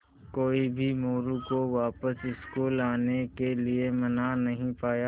कोई भी मोरू को वापस स्कूल आने के लिये मना नहीं पाया